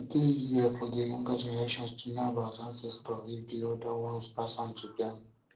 e dey easier for di younger generation to know about ancestor if di older um ones pass am to them